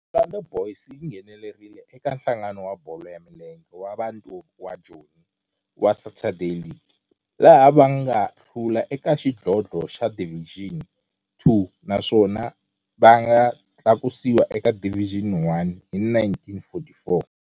Orlando Boys yi nghenelerile eka Nhlangano wa Bolo ya Milenge wa Bantu wa Joni wa Saturday League, laha va nga hlula eka xidlodlo xa Division Two naswona va nga tlakusiwa eka Division One hi 1944.